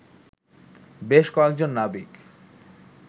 বেশ কয়েজন নাবিক